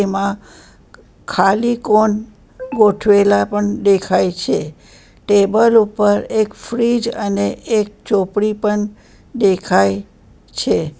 એમાં ખાલી કોન ગોઠવેલા પણ દેખાય છે ટેબલ ઉપર એક ફ્રીજ અને એક ચોપડી પણ દેખાય છે.